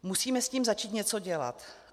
Musíme s tím začít něco dělat.